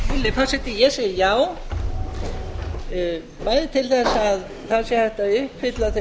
virðulegi forseti ég segi já bæði til að það sé hægt að uppfylla þau